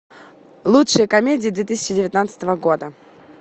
лучшие комедии две тысячи девятнадцатого года